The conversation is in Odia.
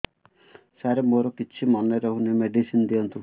ସାର ମୋର କିଛି ମନେ ରହୁନି ମେଡିସିନ ଦିଅନ୍ତୁ